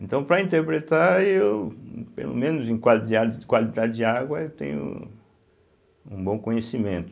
Então, para interpretar, eu, pelo menos em quali de a de qualidade de água, eu tenho um bom conhecimento.